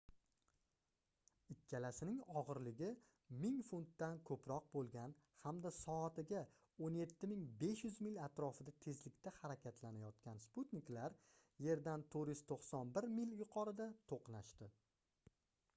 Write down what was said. ikkalasining ogʻirligi 1000 funtdan koʻproq boʻlgan hamda soatiga 17 500 mil atrofida tezlikda harakatlanayotgan sputniklar yerdan 491 mil yuqorida toʻqnashdi